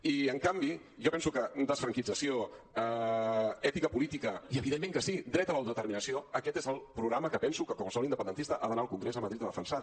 i en canvi jo penso que desfranquització ètica política i evidentment que sí dret a l’autodeterminació aquest és el programa que penso que qualsevol independentista ha d’anar al congrés de madrid a defensar